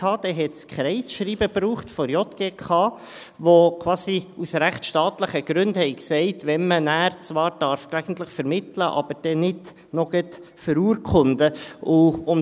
es brauchte ein Kreisschreiben der JGK, das quasi aus rechtsstaatlichen Gründen sagte, wann man zwar gelegentlich vermitteln, aber dann nicht auch gleich noch verurkunden darf.